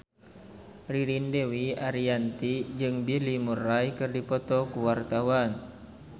Ririn Dwi Ariyanti jeung Bill Murray keur dipoto ku wartawan